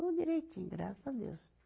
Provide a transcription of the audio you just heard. Tudo direitinho, graças a Deus.